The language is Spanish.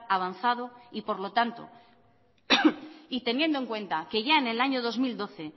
avanzado y por lo tanto y teniendo en cuenta que ya en el año dos mil doce